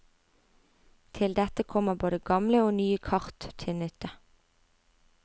Til dette kommer både gamle og nye kart til nytte.